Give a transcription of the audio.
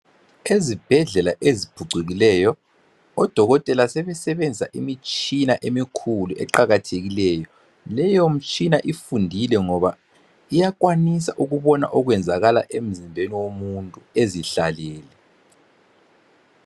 Ezibhedlela eziphucukileyo odokotela sebesebenzisa imitshina emikhulu eqakathekileyo. Leyo mitshina ifundile ngoba iyakwanisa ukubona okwenzakala emzimbeni womuntu ezihlalele